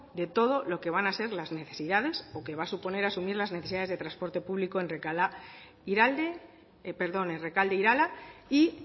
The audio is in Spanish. de todo lo que van a ser las necesidades o que va a suponer asumir las necesidades de transporte público en rekalde irala y